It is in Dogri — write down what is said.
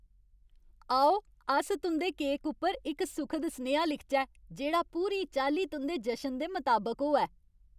आओ, अस तुं'दे केक उप्पर इक सुखद सनेहा लिखचै, जेह्ड़ा पूरी चाल्ली तुं'दे जशन दे मताबक होऐ।